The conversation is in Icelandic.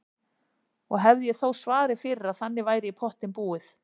Og hefði ég þó svarið fyrir að þannig væri í pottinn búið.